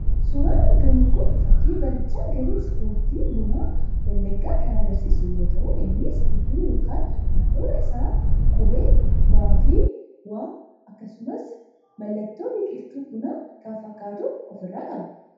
Suuraan argamu kun fakii barjaa garee 'sport' Buna Wallaggaa kan agarsiisu yoo ta'u innis gidduu yookaan handhuura isaatti qubee B fi W, akkasumas mallattoo biqiltuu Bunaa kan fakkaatu ofirraa qaba.